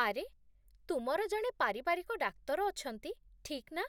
ଆରେ, ତୁମର ଜଣେ ପାରିବାରିକ ଡାକ୍ତର ଅଛନ୍ତି, ଠିକ୍ ନା?